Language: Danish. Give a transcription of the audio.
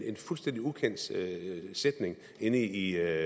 en fuldstændig ukendt sætning inde i